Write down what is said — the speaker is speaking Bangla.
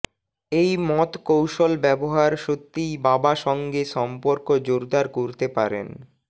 এই মত কৌশল ব্যবহার সত্যিই বাবা সঙ্গে সম্পর্ক জোরদার করতে পারেন